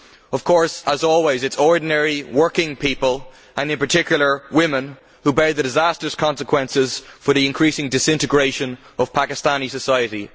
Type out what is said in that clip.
Of course, as always, it is ordinary working people, and in particular women, who bear the disastrous consequences for the increasing disintegration of Pakistani society.